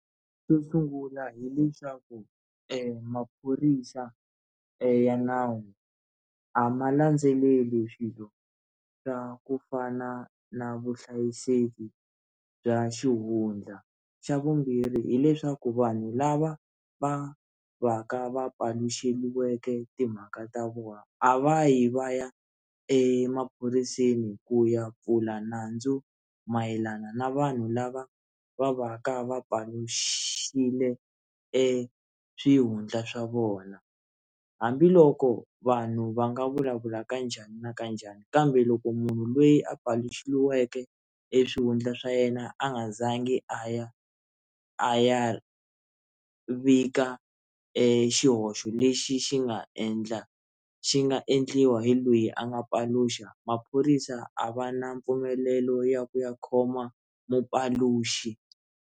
Xo sungula hileswaku maphorisa ya nawu a ma landzeleli swilo swa ku fana na vuhlayiseki bya xihundla xa vumbirhi hileswaku vanhu lava va va ka va paluxeliweke timhaka ta vona a va yi va ya emaphoriseni ku ya pfula nandzu mayelana na vanhu lava va va ka va paluxile eswihundla swa vona hambiloko vanhu va nga vulavula kanjhani na kanjhani kambe loko munhu lweyi a paluxeliweke eswihundla swa yena a nga zangi a ya a ya vika xihoxo lexi xi nga endla xi nga endliwa hi lweyi a nga paluxa maphorisa a va na mpfumelelo ya ku ya khoma mupaluxi.